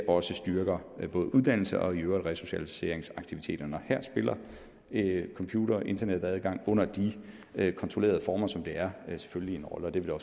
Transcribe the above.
også styrker både uddannelse og resocialiseringsaktiviteterne og her spiller computer og internetadgang under de kontrollerede former som det er selvfølgelig en rolle og det vil